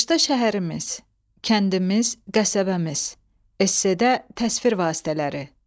Qışda şəhərimiz, kəndimiz, qəsəbəmiz. Esse, təsvir vasitələri.